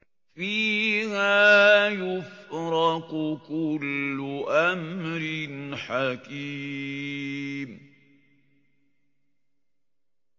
فِيهَا يُفْرَقُ كُلُّ أَمْرٍ حَكِيمٍ